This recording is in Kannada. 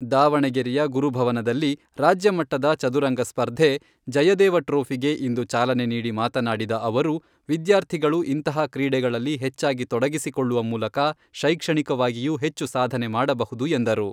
ದಾವಣಗೆರೆಯ ಗುರುಭವನದಲ್ಲಿ ರಾಜ್ಯಮಟ್ಟದ ಚದುರಂಗ ಸ್ಪರ್ಧೆ 'ಜಯದೇವ ಟ್ರೋಫಿ'ಗೆ ಇಂದು ಚಾಲನೆ ನೀಡಿ ಮಾತನಾಡಿದ ಅವರು, ವಿದ್ಯಾರ್ಥಿಗಳು ಇಂಥಹ ಕ್ರೀಡೆಗಳಲ್ಲಿ ಹೆಚ್ಚಾಗಿ ತೊಡಗಿಸಿಕೊಳ್ಳುವ ಮೂಲಕ ಶೈಕ್ಷಣಿಕವಾಗಿಯೂ ಹೆಚ್ಚು ಸಾಧನೆ ಮಾಡಬಹುದು ಎಂದರು.